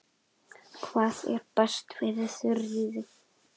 Hvað er best fyrir Þuríði?